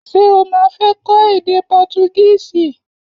Ṣé o ma fé kó èdè portugísì?